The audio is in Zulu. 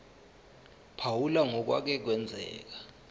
phawula ngokwake kwenzeka